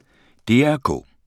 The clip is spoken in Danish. DR K